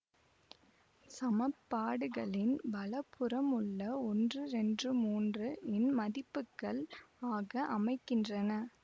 சமன்பாடுகளின் வலதுபுறமுள்ள ஒன்று இரண்று மூன்று இன் மதிப்புகள் ஆக அமைகின்றன